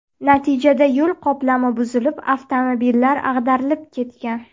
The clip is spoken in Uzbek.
Natijada yo‘l qoplami buzilib, avtomobillar ag‘darilib ketgan.